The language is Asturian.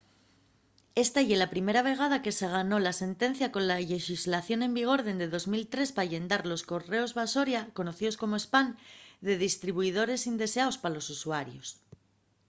esta ye la primera vegada que se ganó una sentencia cola llexislación en vigor dende 2003 pa llendar los correos basoria conocíos como spam de distribuidores indeseaos pa los usuarios